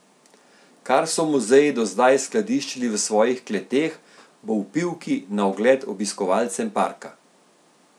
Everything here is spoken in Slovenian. Kar so muzeji do zdaj skladiščili v svojih kleteh, bo v Pivki na ogled obiskovalcem parka.